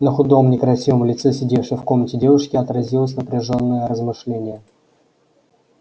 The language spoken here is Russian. на худом некрасивом лице сидевшей в комнате девушки отразилось напряжёенное размышление